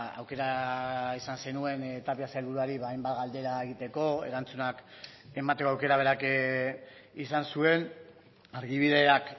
aukera izan zenuen tapia sailburuari hainbat galdera egiteko erantzunak emateko aukera berak izan zuen argibideak